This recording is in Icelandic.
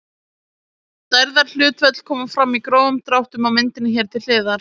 Stærðarhlutföllin koma fram í grófum dráttum á myndinni hér til hliðar.